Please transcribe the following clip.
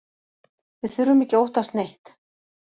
Við þurfum ekki að óttast neitt